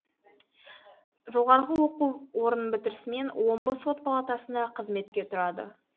жоғарғы оқу орнын бітірісімен омбы сот палатасына қызметке тұрады